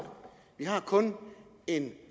vi har kun en